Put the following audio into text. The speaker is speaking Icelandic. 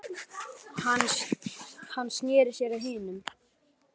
Hann sneri sér að hinum.